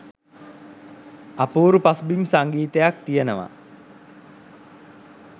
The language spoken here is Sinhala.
අපූරු පසුබිම් සංගීතයක් තියෙනවා.